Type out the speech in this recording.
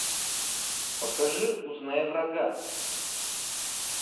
покажи узнай врага